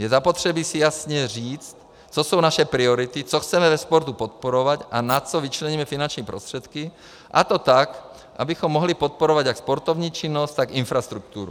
Je zapotřebí si jasně říct, co jsou naše priority, co chceme ve sportu podporovat a na co vyčleníme finanční prostředky, a to tak, abychom mohli podporovat jak sportovní činnost, tak infrastrukturu.